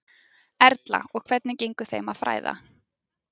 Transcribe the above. Erla: Og hvernig gengur þeim að fæða?